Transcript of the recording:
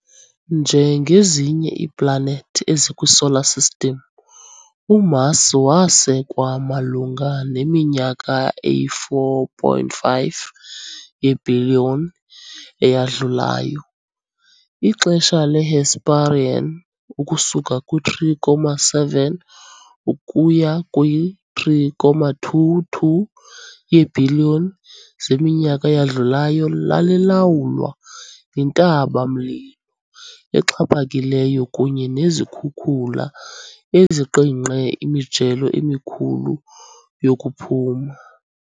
Njengezinye iiplanethi ezikwiSolar System, uMars wasekwa malunga neminyaka eyi-4.5 yeebhiliyoni eyadlulayo. Ixesha le-Hesperian ukusuka kwi-3.7 ukuya kwi-3.2-2 yeebhiliyoni zeminyaka eyadlulayo lalilawulwa yintaba -mlilo exhaphakileyo kunye nezikhukula eziqingqe imijelo emikhulu yokuphuma .